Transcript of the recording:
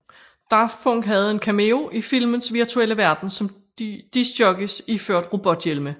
Daft Punk havde en cameo i filmens virtuelle verden som disc jockeys iført robothjelme